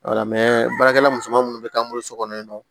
baarakɛla musoman minnu bɛ k'an bolo so kɔnɔ yen nɔ